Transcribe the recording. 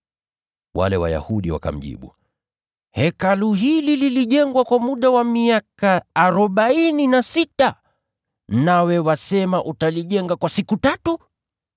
Wale Wayahudi wakamjibu, “Hekalu hili lilijengwa kwa muda wa miaka arobaini na sita, nawe wasema utalijenga kwa siku tatu?”